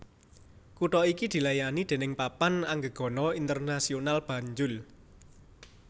Kutha iki dilayani déning Papan Anggegana Internasional Banjul